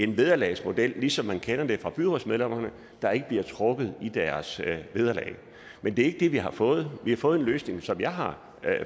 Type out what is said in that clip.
en vederlagsmodel som man kender det for byrådsmedlemmer der ikke bliver trukket i deres vederlag men det er vi har fået vi har fået den løsning som jeg har